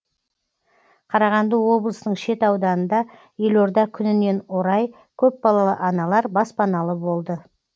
қарағанды облысының шет ауданында елорда күнінен орай көпбалалы аналар баспаналы болды